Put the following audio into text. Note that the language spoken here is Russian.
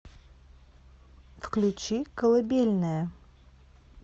включи колыбельная